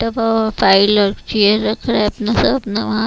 दवा फाइल और चेयर रख रहा है अपना स अपना वहां--